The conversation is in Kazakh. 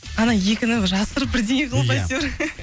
ана екіні жасырып бірдеңе қылып әйтеуір